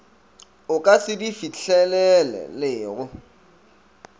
o ka se di fihlelelego